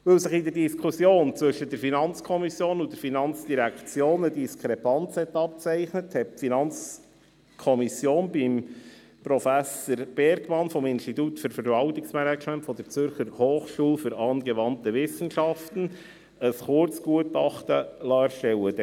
Weil sich in der Diskussion zwischen der FiKo und der FIN eine Diskrepanz abgezeichnet hat, hat die FiKo bei Professor Bergmann vom Institut für Verwaltungsmanagement der Zürcher Hochschule für Angewandte Wissenschaften (ZHAW) ein Kurzgutachten erstellen lassen.